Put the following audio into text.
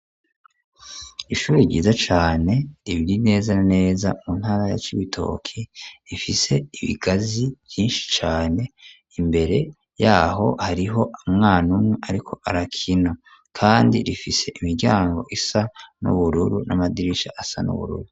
Ishuri ryiza cane, riri neza na neza mu ntara ya Cibitoki, rifise ibigazi vyinshi cane; imbere y'aho hariho umwana umwe ariko arakina, kandi rifise imiryango isa n'ubururu, n'amadirisha asa n'ubururu.